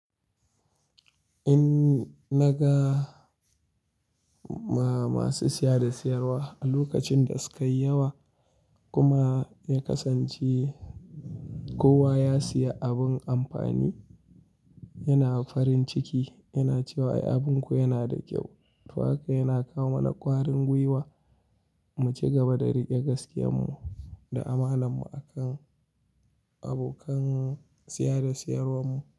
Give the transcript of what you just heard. In naga ma-masu siya da siyarwa a lokacin da sukayi yawa kuma ya kasance kowa ya siya abun amfani, yana farin ciki yana cewa ai abun ku yana da kyau. To haka yana kawo mana kwarin gwiwa mu cigaba da rike gaskiya mu da amana mu akan abokan siya da siyarwar mu.